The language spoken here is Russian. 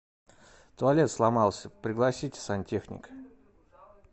туалет сломался пригласите сантехника